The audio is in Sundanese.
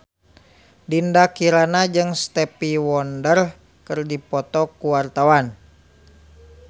Dinda Kirana jeung Stevie Wonder keur dipoto ku wartawan